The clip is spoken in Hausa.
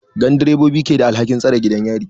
Gandirobobi ke da alhakin tsare gidan yari.